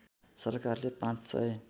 सरकारले ५ सय